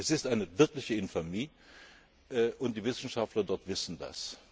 Es ist eine wirkliche Infamie, und die Wissenschaftler dort wissen